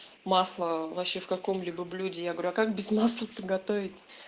масло вообще в каком-либо блюде я говорю а как без масла то приготовить